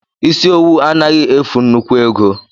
Isi owu anaghị efu nnukwu ego